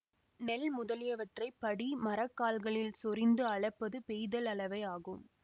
நெல் முதலியவற்றை படி மரக்கால்களில் சொரிந்து அளப்பது பெய்தல் அளவை ஆகும்